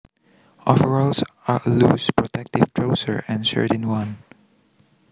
Overalls are a loose protective trouser and shirt in one